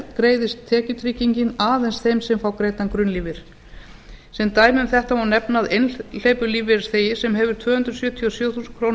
greiðist tekjutryggingin aðeins þeim sem fá greiddan grunnlífeyri sem dæmi um þetta má nefna að einhleypur lífeyrisþegi sem hefur tvö hundruð sjötíu og sjö þúsund krónur